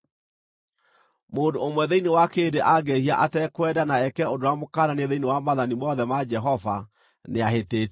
“ ‘Mũndũ ũmwe thĩinĩ wa kĩrĩndĩ angĩĩhia atekwenda na eke ũndũ ũrĩa mũkananie thĩinĩ wa maathani mothe ma Jehova, nĩahĩtĩtie.